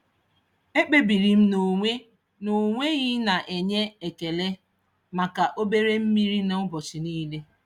E kpebiri m n'onwe n'onwe ị na-enye ekele maka obere mmeri n'ụbọchị niile.